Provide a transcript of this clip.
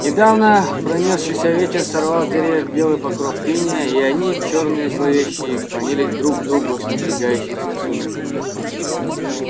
недавно пронёсшийся ветер сорвал с деревьев белый покров инея и они чёрные зловещие клонились друг к другу в надвигающихся сумерках